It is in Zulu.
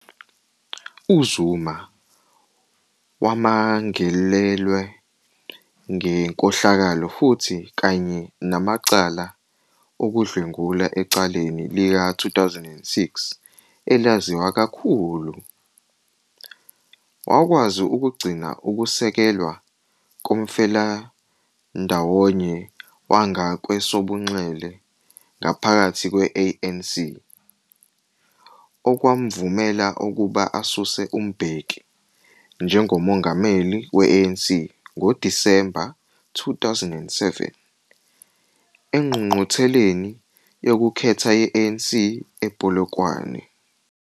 UZuma wamangalelwe ngenkohlakalo futhi kanye namacala okudlwengula ecaleni lika-2006 elaziwa kakhulu. Wakwazi ukugcina ukusekelwa komfelandawonye wangakwesobunxele ngaphakathi kwe-ANC, okwamvumela ukuba asuse uMbeki njengomongameli we-ANC ngoDisemba 2007 engqungqutheleni yokukhetha ye-ANC ePolokwane.